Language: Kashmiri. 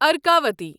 ارکاوٹی